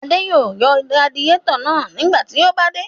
Adé yóò yọ radiátọ̀ náà nígbà tí ó bá dé.